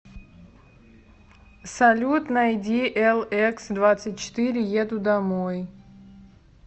салют найди элэксдвадцатьчетыре еду домой